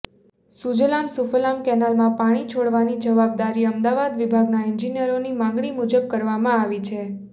સુજલામ સુફલામ કેનાલમાં પાણી છોડવાની જવાબદારી અમદાવાદ વિભાગના એન્જિનિયરોની માગણી મુજબ કરવામાં આવે છે